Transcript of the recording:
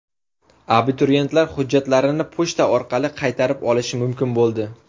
Abituriyentlar hujjatlarini pochta orqali qaytarib olishi mumkin bo‘ldi.